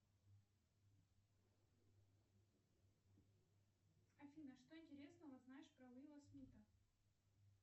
афина что интересного знаешь про уилла смитта